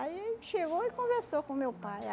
Aí chegou e conversou com o meu pai.